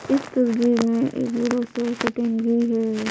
इस तस्वीर में एक बड़ी सी कटिंग हुई गयी है।